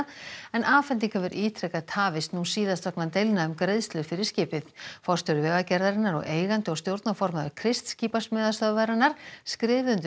en afhending hefur ítrekað tafist nú síðast vegna deilna um greiðslur fyrir skipið forstjóri Vegagerðarinnar og eigandi og stjórnarformaður Crist skipasmíðastöðvarinnar skrifuðu undir